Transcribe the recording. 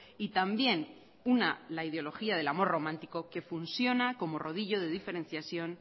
y también una la ideología del amor romántico que funciona como rodillo de diferenciación